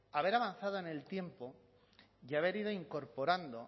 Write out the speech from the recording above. haber avanzado en el tiempo y haber ido incorporando